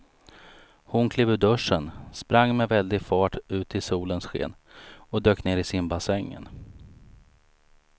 Hon klev ur duschen, sprang med väldig fart ut i solens sken och dök ner i simbassängen.